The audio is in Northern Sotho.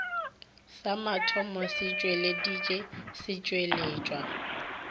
sa mathomo se tšweleditše setšweletšwa